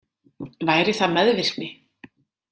Væri það meðvirkni?